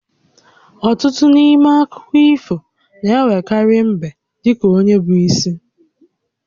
Ọtụtụ n'ime akụkọ ifona-enwekarị mbe dị ka onye bụ isi